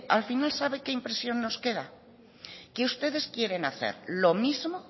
al final sabe qué impresión nos queda que ustedes quieren hacer lo mismo